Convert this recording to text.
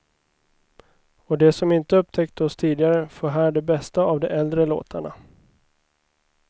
Och de som inte upptäckt oss tidigare får här de bästa av de äldre låtarna.